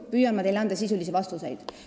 Ma püüan teile anda sisulisi vastuseid.